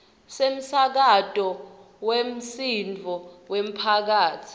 semsakato wemsindvo wemphakatsi